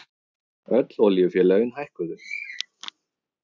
Öll olíufélögin hækkuðu